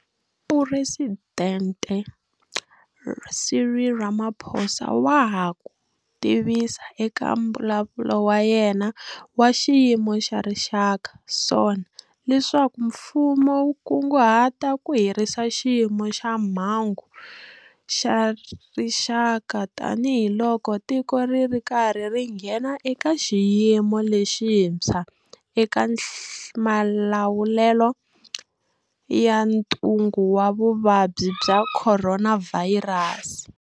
Presidente Cyril Ramaphosa wa ha ku tivisa eka Mbulavulo wa yena wa Xiyimo xa Rixaka, SONA, leswaku mfumo wu kunguhata ku herisa Xiyimo xa Mhangu xa Rixaka tanihiloko tiko ri ri karhi ri nghena eka xiyimo lexintshwa eka malawulelo ya ntungu wa Vuvabyi bya Khoronavhayirasi.